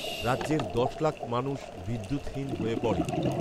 রাজ্যের দশ লাখ মানুষ বিদ্যুৎহীন হয়ে পড়ে